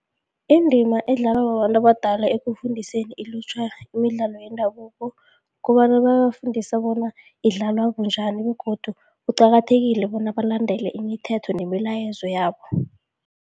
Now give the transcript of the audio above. Indima edlalwa babantu abadala ekufundiseni ilutjha imidlalo yendabuko, kobana babafundisa bona idlalwa bunjani begodu kuqakathekile bona balandele imithetho nemilayezo yabo.